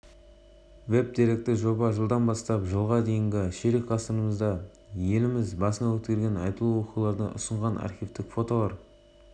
веб-деректі жобасының сайты барлық оқырмандар үшін ашық тергеу нәтижелері туралы кейінірек хабарланады веб-деректі жобасының сайты барлық